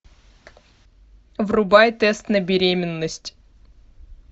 врубай тест на беременность